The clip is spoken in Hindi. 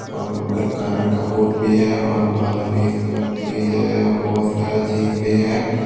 और एक का बोर्ड भी है और बालों में इस्तेमाल किए जाए वाला बहुत सारा चीज भी है।